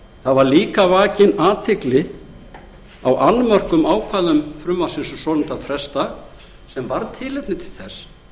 það var líka vakin athygli á annmörkum ákvæða frumvarpsins um svonefndan frestdag sem varð tilefni til þess